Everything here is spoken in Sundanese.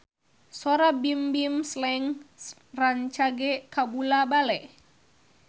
Sora Bimbim Slank rancage kabula-bale